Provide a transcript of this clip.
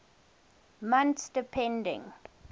months depending